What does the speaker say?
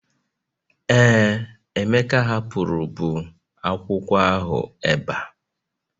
Ee, Emeka hapụrụ bụ akwụkwọ ahụ ebe a